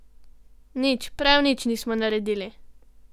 Nič, prav nič nismo naredili.